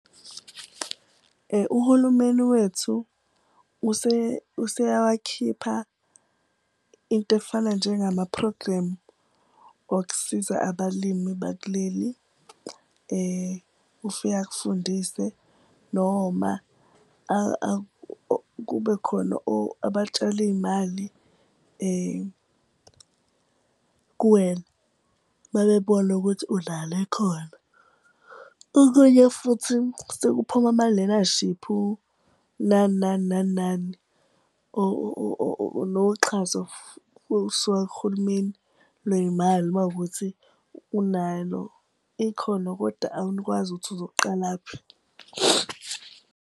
Uhulumeni wethu useyawakhipha into efana njengama-program okusiza abalimi bakuleli. Ufika akufundise noma kube khona abatshali iy'mali kuwena, mabebona ukuthi unalo ikhono. Okunye futhi sekuphuma ama-lenashiphu, nani, nani, nani, nani, noxhaso ulusuka kuhulumeni lwey'mali, uma ukuthi unalo ikhono, koda ukuthi uzoqalaphi.